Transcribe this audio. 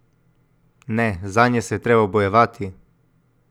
Ne, zanje se je treba bojevati!